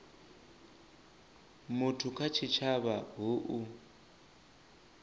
muthu kha tshitshavha hu u